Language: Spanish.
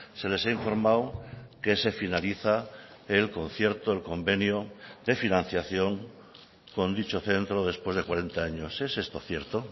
se les ha informado que se finaliza el concierto el convenio de financiación con dicho centro después de cuarenta años es esto cierto